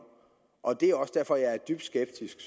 og det er også derfor jeg er dybt skeptisk